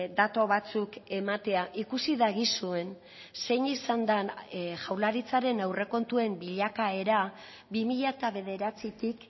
datu batzuk ematea ikusi dagizuen zein izan den jaurlaritzaren aurrekontuen bilakaera bi mila bederatzitik